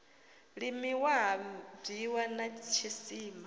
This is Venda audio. limiwa ha bwiwa na tshisima